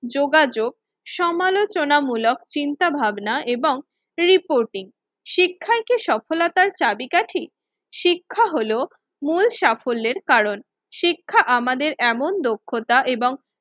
যোগাযোগ সমালোচনামূলক চিন্তাভাবনা এবং রিপোর্টিং। শিক্ষায় কি সফলতার চাবীকাঠি? শিক্ষা হলো মূল সাফল্যের কারণ, শিক্ষা আমাদের এমন দক্ষতা এবং